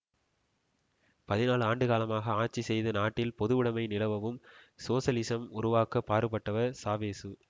பதினாழு ஆண்டுகாலமாக ஆட்சி செய்து நாட்டில் பொதுவுடைமை நிலவவும் சோசலிசம் உருவாக்கவும் பாடுபட்டவர் சாவேசு